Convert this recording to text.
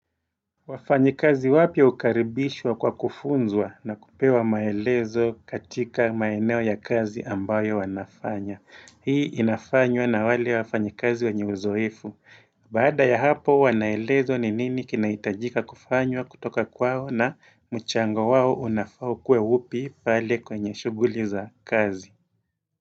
Wafanyi kazi wapya hukaribishwa kwa kufunzwa na kupewa maelezo katika maeneo ya kazi ambayo wanafanya. Hii inafanywa na wale wafanyi kazi wanye uzoefu. Baada ya hapo wanaelezo ni nini kinaitajika kufanywa kutoka kwao na mchango wao unafaa uwe upi pale kwenye shuguli za kazi.